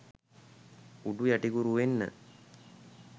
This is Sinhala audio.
උඩු යටිකුරු වෙන්න